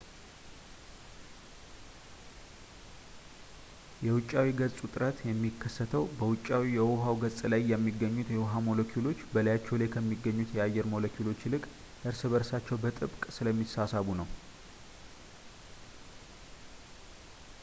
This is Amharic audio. የ ውጫዊ ገጽ ውጥረት የሚከተሰው በውጫዊው የውሃው ገጽ ላይ የሚገኙት የውሃ ሞለኪውሎች በላያቸው ላይ ከሚገኙት ከአየር ሞለኪውሎች ይልቅ እርስ በእርሳቸው በጥብቅ ስለሚሳሳቡ ነው